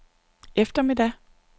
eftermiddag